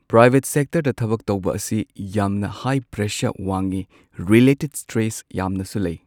Private ꯁꯦꯛꯇꯔꯗ ꯊꯕꯛ ꯇꯧꯕ ꯑꯁꯤ ꯌꯥꯝꯅ ꯍꯥꯏ ꯄ꯭ꯔꯦꯁꯔ ꯋꯥꯡꯉꯤ ꯔꯤꯂꯦꯇꯦꯗ ꯁ꯭ꯇ꯭ꯔꯦꯁ ꯌꯥꯝꯅꯁꯨ ꯂꯩ꯫